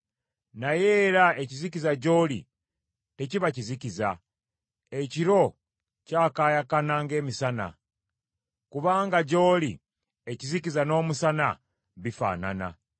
Naye era ekizikiza gy’oli tekiba kizikiza, ekiro kyakaayakana ng’emisana; kubanga gy’oli ekizikiza n’omusana bifaanana.